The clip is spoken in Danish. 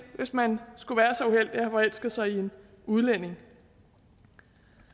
hvis man skulle være så uheldig at have forelsket sig i en udlænding det